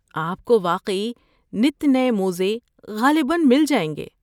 آپ کو واقعی نت نئے موزے غالباً مل جائیں گے۔